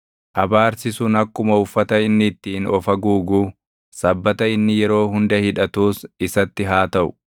Abaarsi sun akkuma uffata inni ittiin of haguuguu, sabbata inni yeroo hunda hidhatuus isatti haa taʼu.